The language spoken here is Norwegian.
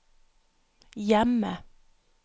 hjemme